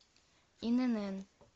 инн